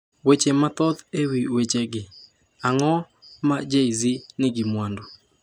Weche mathoth e wi wechegi Ang’o ma Jay-Z nigi mwandu?